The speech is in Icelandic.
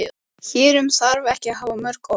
Hér um þarf ekki að hafa mörg orð.